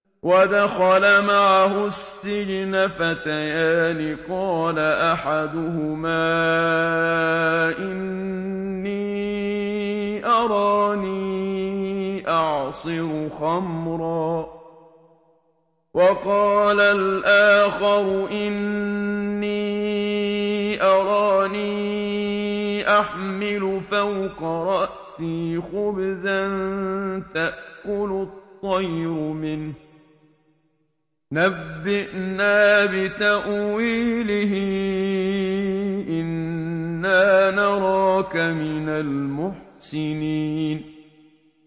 وَدَخَلَ مَعَهُ السِّجْنَ فَتَيَانِ ۖ قَالَ أَحَدُهُمَا إِنِّي أَرَانِي أَعْصِرُ خَمْرًا ۖ وَقَالَ الْآخَرُ إِنِّي أَرَانِي أَحْمِلُ فَوْقَ رَأْسِي خُبْزًا تَأْكُلُ الطَّيْرُ مِنْهُ ۖ نَبِّئْنَا بِتَأْوِيلِهِ ۖ إِنَّا نَرَاكَ مِنَ الْمُحْسِنِينَ